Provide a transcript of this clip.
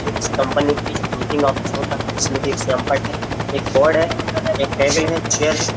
जो किसी कंपनी की एक मीटिंग ऑफिस होता है जिसमें कि एक सिमपट है एक बोर्ड है एक टेबल है चेयर है।